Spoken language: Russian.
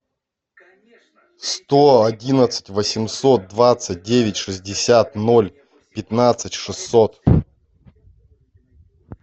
сто одиннадцать восемьсот двадцать девять шестьдесят ноль пятнадцать шестьсот